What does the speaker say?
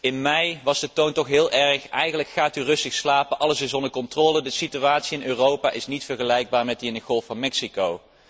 In mei was de toon toch heel erg in de trant van gaat u rustig slapen, alles is onder controle, de situatie in Europa is niet vergelijkbaar met die in de Golf van Mexico.